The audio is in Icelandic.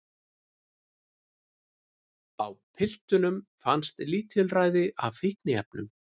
Á piltunum fannst lítilræði af fíkniefnum